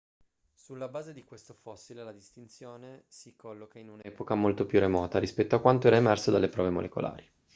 sulla base di questo fossile la distinzione si colloca in un'epoca molto più remota rispetto a quanto era emerso dalle prove molecolari